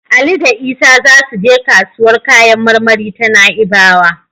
Ali da Isa za su je kasuwar kayan marmari ta Na'ibawa.